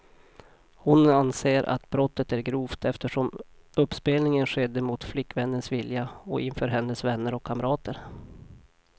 Hon anser att brottet är grovt, eftersom uppspelningen skedde mot flickvännens vilja och inför hennes vänner och kamrater.